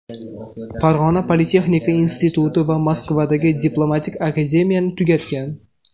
Farg‘ona politexnika instituti va Moskvadagi Diplomatik akademiyani tugatgan.